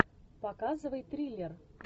показывай триллер